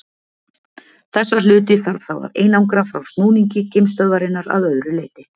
Þessa hluti þarf þá að einangra frá snúningi geimstöðvarinnar að öðru leyti.